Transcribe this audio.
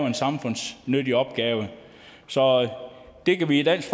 en samfundsnyttig opgave så det kan vi i dansk